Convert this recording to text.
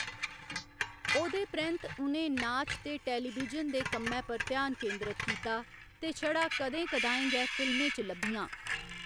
ओह्‌‌‌दे परैंत्त उ'नें नाच ते टेलीविजन दे कम्मै पर ध्यान केंद्रत कीता, ते छड़ा कदें कदाएं गै फिल्में च लब्भियां।